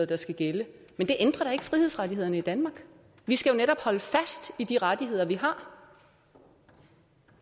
der skal gælde men det ændrer da ikke frihedsrettighederne i danmark vi skal jo netop holde fast i de rettigheder vi har